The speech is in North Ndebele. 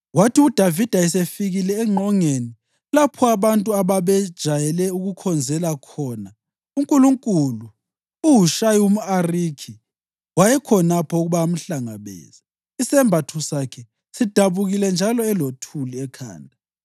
Kwathi uDavida esefikile engqongeni, lapho abantu ababejayele ukukhonzela khona uNkulunkulu, uHushayi umʼArikhi wayekhonapho ukuba amhlangabeze, isembatho sakhe sidabukile njalo elothuli ekhanda.